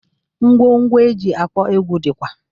Ngwo ngwo eji akpọ egwu dịkwa